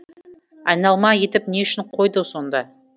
айналма етіп не үшін қойды сонда